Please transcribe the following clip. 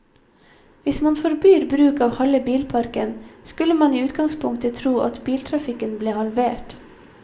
Hvis man forbyr bruk av halve bilparken, skulle man i utgangspunktet tro at biltrafikken ble halvert.